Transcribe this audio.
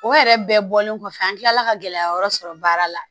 O yɛrɛ bɛɛ bɔlen kɔfɛ an kilala ka gɛlɛya wɛrɛ sɔrɔ baara la